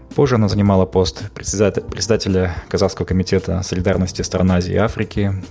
позже она занимала пост председателя казахского комитета солидарности стран азии и африки